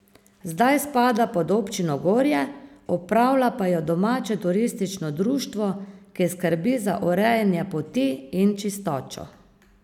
Zdaj spada pod občino Gorje, upravlja pa jo domače turistično društvo, ki skrbi za urejanje poti in čistočo.